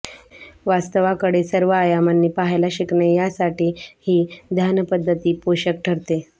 वास्तवाकडे सर्व आयामांनी पहायला शिकणे यासाठी ही ध्यानपद्धती पोषक ठरते